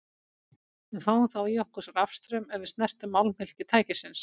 Við fáum þá í okkur rafstraum ef við snertum málmhylki tækisins.